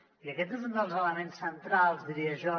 i aquest és un dels elements centrals diria jo